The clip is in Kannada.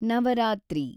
ನವರಾತ್ರಿ